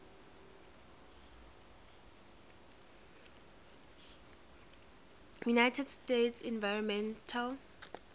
united states environmental